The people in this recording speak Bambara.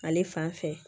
Ale fan fɛ